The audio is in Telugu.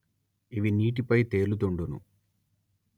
ఇవి నీటిపై తేలుతుండును